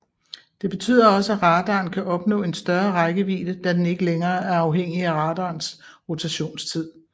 Det betyder også at radaren kan opnå en større rækkevidde da den ikke længere er afhængig af radarens rotationstid